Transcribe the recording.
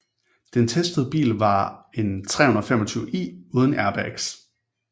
Den testede bil var en 325i uden airbags